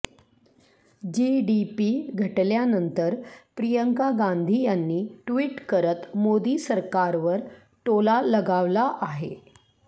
GDP घटल्यानंतर प्रियंका गांधी यांनी tweet करत मोदी सरकारवर टोला लगावला आहे